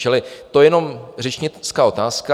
Čili to je jenom řečnická otázka.